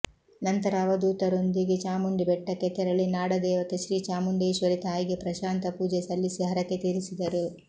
ನಂತರ ಅವಧೂತರೊಂದಿಗೆ ಚಾಮುಂಡಿ ಬೆಟ್ಟಕ್ಕೆ ತೆರಳಿ ನಾಡ ದೇವತೆ ಶ್ರೀ ಚಾಮುಂಡೇಶ್ವರಿ ತಾಯಿಗೆ ಪ್ರಶಾಂತ ಪೂಜೆ ಸಲ್ಲಿಸಿ ಹರಕೆ ತೀರಿಸಿದರು